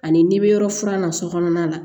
Ani n'i bɛ yɔrɔ furan na sokɔnɔna la